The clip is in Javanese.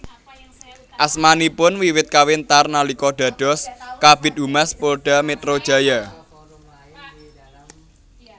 Asmanipun wiwit kawentar nalika dados Kabid Humas Polda Metro Jaya